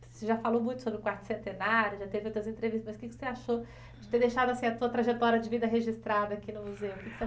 Você já falou muito sobre o quarto centenário, já teve outras entrevistas, mas o que você achou de ter deixado a tua trajetória de vida registrada aqui no museu?